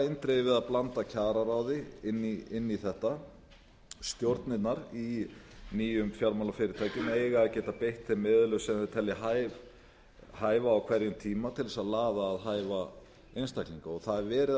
eindregið við að blanda kjararáði inn í þetta stjórnirnar í nýjum fjármálafyrirtækjum eiga að geta beitt þeim meðulum sem þau telja hæfa á hverjum tíma til þess að laða að hæfa einstaklinga það er verið að